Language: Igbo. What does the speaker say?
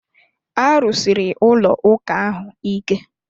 A rụsiri ụlọ ụka ahụ ike